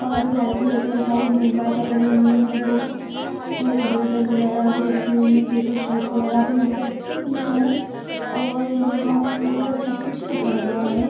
--और कैलकुलेटर रखा हुआ है मोबाइल पकडे हुए हैवह और इरेज़र वगैरह भी रखी हुई है और पपेरशीट वगैरह भी यह पे राखी हुई है और यह पे मतलब सब कुछ ही रखा हुआ है।